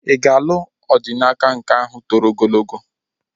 Ị ga-alụ Odinaka nke ahụ toro ogologo?